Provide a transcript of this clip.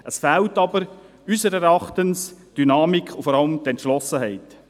Es fehlen unseres Erachtens jedoch die Dynamik und die Entschlossenheit.